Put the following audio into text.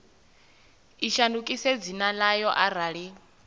i shandukise dzina ḽayo arali